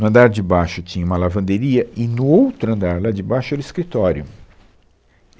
No andar de baixo tinha uma lavanderia e no outro andar, lá de baixo, era o escritório.